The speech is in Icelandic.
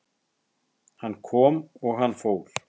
Hann kom og hann fór